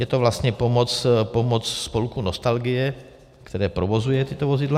Je to vlastně pomoc Spolku nostalgie, který provozuje tato vozidla.